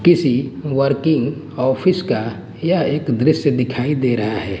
किसी working office का यह एक दृश्य दिखाई दे रहा है।